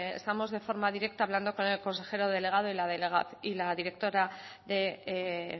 estamos de forma directa hablando con el consejero delegado y